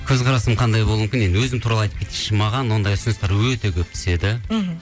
көзқарасым қандай болуы мүмкін енді өзім туралы атып кетейінші маған ондай ұсыныстар өте көп түседі мхм